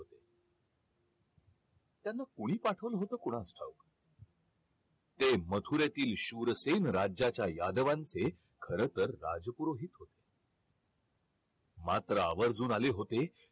त्यांना कोणी पाठवला होता कोणास ठाऊक ते मथुरेतील शूरसेन राज्याच्या यादवांचे खर तर राजपुरोहित होते मात्र आवर्जून आले होते